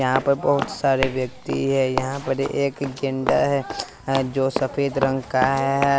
यहां पर बहोत सारे व्यक्ति हैं यहां पर एक गेंडा है जो सफेद रंग का है।